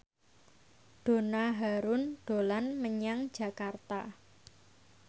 Donna Harun dolan menyang Jakarta